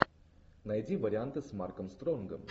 найди варианты с марком стронгом